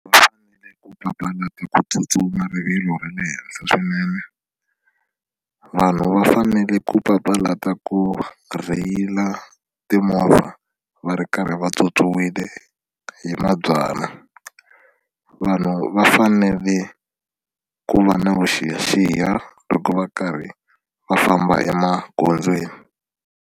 Va fanele ku papalata ku tsutsuma rivilo ra le henhla swinene vanhu va fanele ku papalata ku rheyila timovha va ri karhi va tswotswiwile hi mabyalwa vanhu va fanele ku va na vuxiyaxiya loko va karhi va famba emagondzweni.